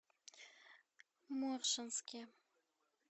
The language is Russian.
моршанске